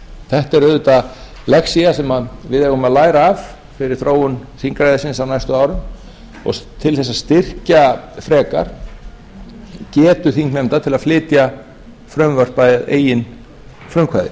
þetta er auðvitað lexía sem við eigum að læra af við þróun þingræðisins á næstu árum og til að styrkja frekar getu þingnefnda til að flytja frumvarp að eigin frumkvæði